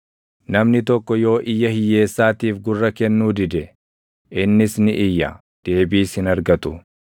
Namni tokko yoo iyya hiyyeessaatiif gurra kennuu dide, innis ni iyya; deebiis hin argatu.